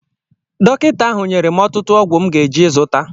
Dọkịta ahụ nyere m ọtụtụ ọgwụ m ga-eje zụta